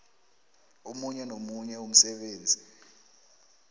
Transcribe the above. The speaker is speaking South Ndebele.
omunye nomunye umsebenzi